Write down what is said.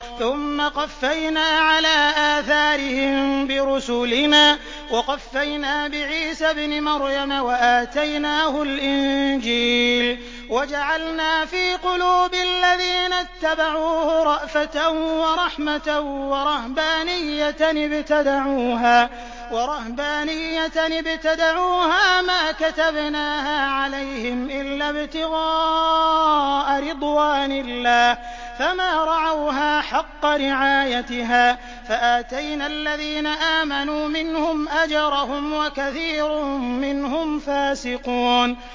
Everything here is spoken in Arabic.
ثُمَّ قَفَّيْنَا عَلَىٰ آثَارِهِم بِرُسُلِنَا وَقَفَّيْنَا بِعِيسَى ابْنِ مَرْيَمَ وَآتَيْنَاهُ الْإِنجِيلَ وَجَعَلْنَا فِي قُلُوبِ الَّذِينَ اتَّبَعُوهُ رَأْفَةً وَرَحْمَةً وَرَهْبَانِيَّةً ابْتَدَعُوهَا مَا كَتَبْنَاهَا عَلَيْهِمْ إِلَّا ابْتِغَاءَ رِضْوَانِ اللَّهِ فَمَا رَعَوْهَا حَقَّ رِعَايَتِهَا ۖ فَآتَيْنَا الَّذِينَ آمَنُوا مِنْهُمْ أَجْرَهُمْ ۖ وَكَثِيرٌ مِّنْهُمْ فَاسِقُونَ